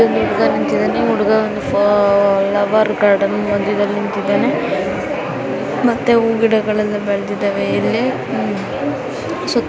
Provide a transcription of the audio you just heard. ಇಲ್ಲಿ ಹುಡುಗ ನಿಂತಿದಾನೆ ಹುಡುಗ ಲವರ್ ಗಾರ್ಡನ್ ಮದ್ಯದಲ್ಲಿ ನಿಂತಿದ್ದಾನೆ ಮತ್ತೆ ಹೂವು ಗಿಡಗಳು ಎಲ್ಲ ಬೆಳೆದಿದವೆ ಇಲ್ಲಿ ಉ-- .]